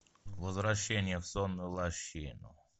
возвращение в сонную лощину